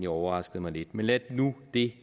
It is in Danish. overraskede mig lidt men lad nu det